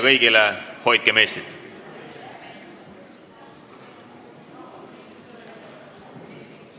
Istungi lõpp kell 11.03.